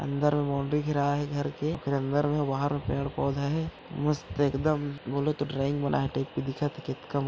अंदर में बॉउंड्री घेराए हेघर के अंदर में बाहर में पेड़-पौधा हे मस्त एक दम बोले तो ड्राइंग बनाए टाइप के दिखत हेकतका--